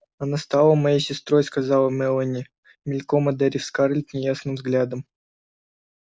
она стала моей сестрой сказала мелани мельком одарив скарлетт неясным взглядом